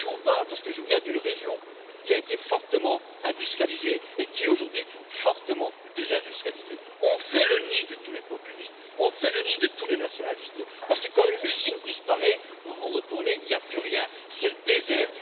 Et je vous en parle, parce que je viens d'une région qui a été fortement industrialisée et qui est aujourd'hui fortement désindustrialisée. On fait le nid de tous les populistes, on fait le nid de tous les nationalistes, parce que quand une usine disparaît, vous vous retournez, il n'y a plus rien, c'est le désert.